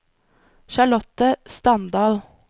Charlotte Standal